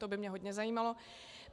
To by mě hodně zajímalo.